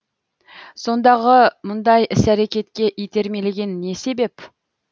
сондағы мұндай іс әрекетке итермелеген не себеп